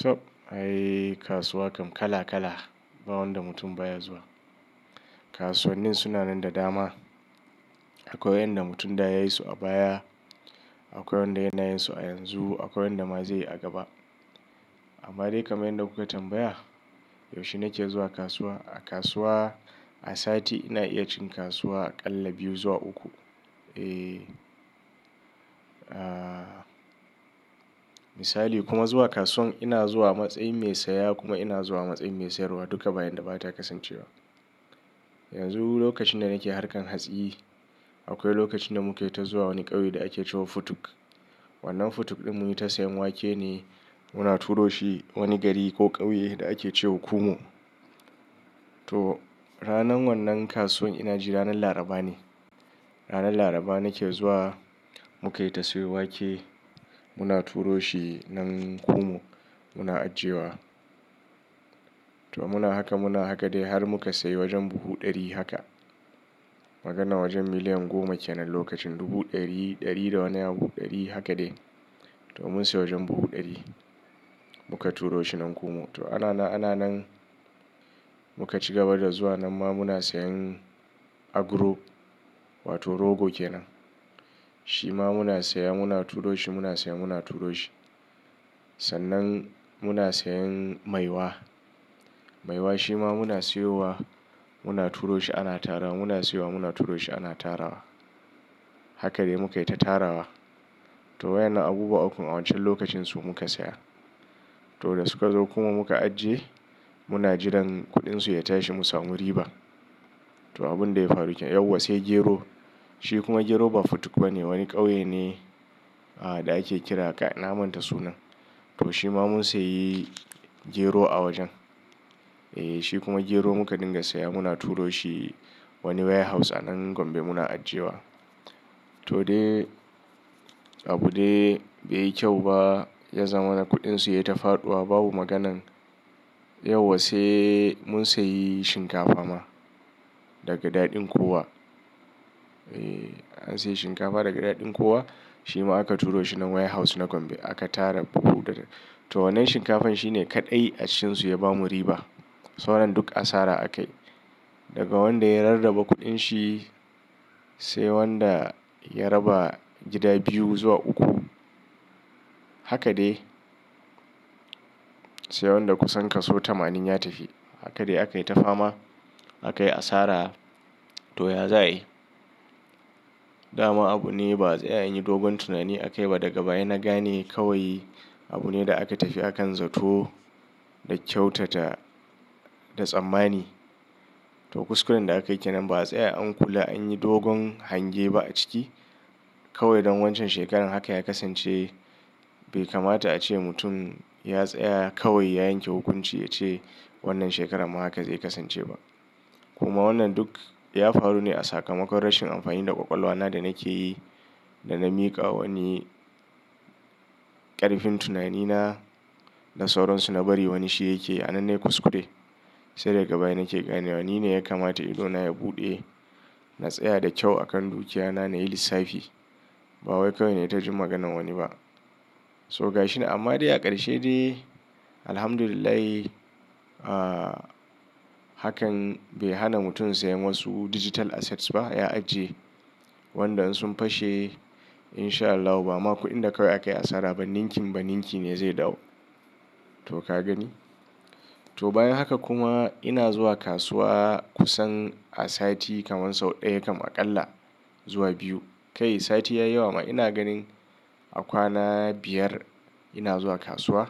Caɓ, ai kasuwa kam kala-kala, ba wanda mutum baya zuwa. Kasuwannin suna nan da dama. Akwai wa'inda mutum da ya yi su a baya, akwai wanda yana yin su a yanzu, akwai wanda ma zai yi a gaba. Amma dai kaman yanda kuka tambaya, yaushe nake zuwa kasuwa? A kasuwa, a sati ina iya cin kasuwa aƙalla biyu zuwa uku. Eh. Ah, misali kuma zuwa kasuwan ina zuwa a matsayin mai saya, kuma ina zuwa a matsayin mai sayarwa, duka ba yanda ba ta kasancewa. Yanzu lokacin da nake harkan hatsi, akwai lokacin da muke ta zuwa wani ƙauye da ake cewa Futuk. Wannan Futuk ɗin mun yi ta sayan wake ne, muna turo shi wani gari ko ƙauye da ake ce wa Kumo. To, ranan wannan kasuwan ina ji ranan Laraba ne, ranan Laraba nake zuwa, mu kai ta sayo wake, muna turo shi nan Kumo muna ajiyewa. To muna haka muna haka dai, har muka sayi wajen buhu ɗari haka. Maganar wajen miliyan goma kenan lokacin, dubu ɗari, ɗari da wani abu ɗari haka dai. To mun sayi wajen buhu ɗari muka turo shi nan Kumo. To ana nan, ana nan, muka cigaba da zuwa nan ma muna sayen abro; wato rogo kenan. Shi ma muna saya muna turo shi, muna saya muna turo shi. Sannan muna sayen maiwa. Maiwa shi ma muna siyowa, muna turo shi ana tarawa, muna siyowa muna turo shi ana tara wa. Haka dai mukaita tarawa. To waƴannan abubuwa ukun a wancan lokacin su muka saya, to da suka zo kuma muka ajiye, muna jiran kuɗinsu ya tashi mu samu riba. To abun da ya faru kenan, yauwa sai gero, shi kuma gero ba Futuk ba ne wani ƙauye ne da ake kira, kai na manta sunan. To shi ma mun sayi gero a wajen. Eh, shi kuma gero muka dinga saya muna turo shi, wani waya house a nan Gombe muna ajiyewa. To dai abu dai bai yi kyau ba, ya zama na kuɗin su yayi ta faɗuwa babu maganan. Yauwa sai mun sayi shinkafa ma daga daɗin kowa. Eh an sayi shinkafa daga daɗin kuwa shi ma aka turo shi nan waya house na Gombe aka tara buhu da ta to wannan shinkafan shi ne kaɗai a cikinsu ya bamu riba. Sauran duk asara a kai, daga wanda ya rarraba kuɗin shi, sai wanda ya raba gida biyu zuwa uku, haka dai, sai wanda kusan kaso tamanin ya tafi. Haka dai akai ta fama, aka yi asara, to ya za ayi? Dama abune ba'a tsaya anyi dogon tunani akai ba daga baya na gane kawai abu ne da aka tafi akan zato da kyautata da tsammani. To kuskuren da akayi kenan, ba'a tsaya an kula an yi dogon hange ba a ciki, kawai don wancan shekaran haka ya kasance, bai kamata a ce mutum ya tsaya kawai ya yanke hukunci ya ce wannan shekarar ma haka zai kasance ba. Kuma wannan duk ya faru ne a sakamakon rashin amfani da ƙwaƙwalwa na da nake yi, da na miƙa wa wani ƙarfin tunani na da sauransu na bari wani shi yakeyi. A nan nai kuskure, sai daga baya nake ganewa, ni ne ya kamata ido na ya buɗe, na tsaya da kyau a kan dukiyana na yi lissafi, ba wai kawai nai ta ji maganan wani ba. To gashi, amma dai a ƙarshe dai, alhamdulillahi, hakan bai hana mutum siyan wasu digital assets ba, ya ajiye, wanda in sun fashe, in sha Allahu ba ma kuɗin da kawai aka yi asara ba, ninkim-ba-ninki ne zai dawo. To ka gani? To bayan haka kuma, ina zuwa kasuwa kusan a sati kamar sau ɗaya kam aƙalla zuwa biyu. Kai sati ya yi yawa ma, ina ganin a kwana biyar ina zuwa kasuwa